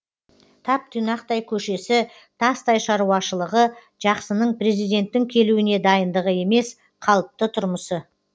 тап тұйнақтай көшесі тастай шаруашылығы жақсының президенттің келуіне дайындығы емес қалыпты тұрмысы